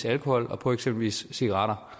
alkohol og på eksempelvis cigaretter